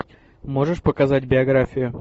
можешь показать биографию